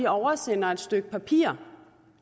oversender et stykke papir